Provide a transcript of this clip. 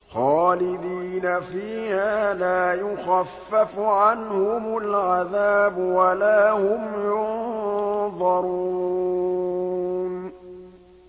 خَالِدِينَ فِيهَا لَا يُخَفَّفُ عَنْهُمُ الْعَذَابُ وَلَا هُمْ يُنظَرُونَ